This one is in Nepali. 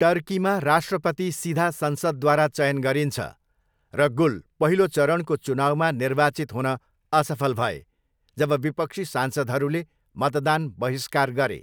टर्कीमा, राष्ट्रपति सिधा संसदद्वारा चयन गरिन्छ, र गुल पहिलो चरणको चुनाउमा निर्वाचित हुन असफल भए जब विपक्षी सांसदहरूले मतदान बहिष्कार गरे।